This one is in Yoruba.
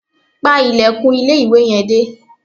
Pa ilẹ̀kùn ilé-ìwẹ̀ yẹn dé